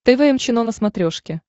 тэ вэ эм чено на смотрешке